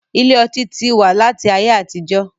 Ilé ọtí tí wá láti ayé àtijó